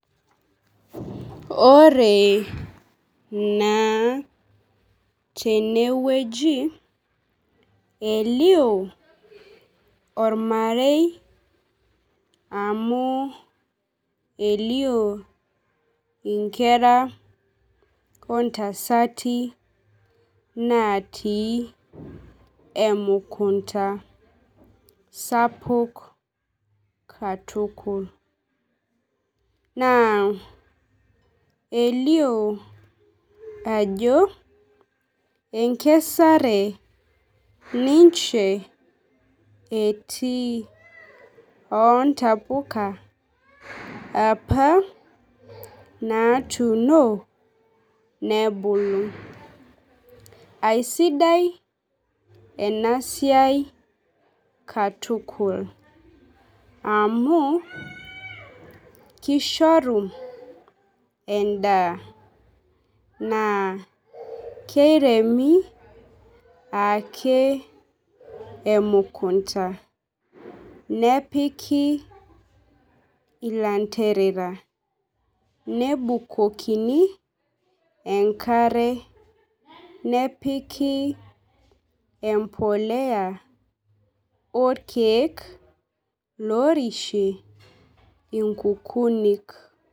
Ore naa tenewueji elio ormarei amu elio inkera ontasati natii emukunta sapuk katukul naa elio ajo enkeare ninche etii ontapuka apa natuuno nebulu . Aisidai enasiai katukul amu kishoru endaa naa keiremi ake emkunta nepiki ilanterera, nebukokini enkare , nepiki empolea orkiek lorishie inkukunik .